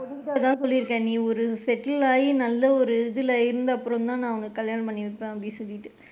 பொண்ணு கிட்ட அது தான் சொல்லி இருக்கேன் நீ settle ஆகி நல்ல ஒரு இதுல இருந்ததுக்கு அப்பறம் தான் நான் உனக்கு கல்யாணம் பண்ணி வைப்பேன் அப்படின்னு சொல்லிட்டு.